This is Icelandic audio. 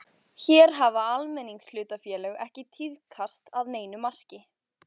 Hér hafa almenningshlutafélög ekki tíðkast að neinu marki.